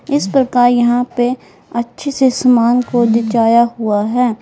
इस प्रकार यहां पे अच्छे से सामान को दिखाया हुआ है।